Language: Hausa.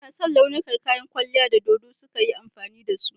Ina son launukan kayan kwalliyar da dodo suka yi amfani da su.